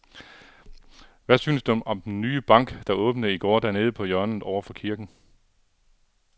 Hvad synes du om den nye bank, der åbnede i går dernede på hjørnet over for kirken?